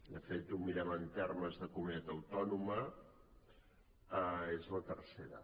de fet si ho mirem en termes de comunitat autònoma és la tercera